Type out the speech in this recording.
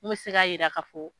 Min be se ka yira k'a fɔ